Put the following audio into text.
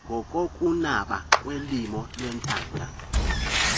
ngokokunaba komlibo wethanga